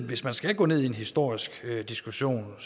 hvis man skal gå ned i en historisk diskussion